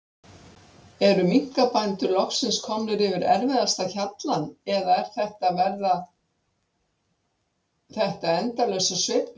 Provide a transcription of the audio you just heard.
Eru minkabændur loksins komnir yfir erfiðasta hjallann eða er þetta, verða þetta endalausar sveiflur?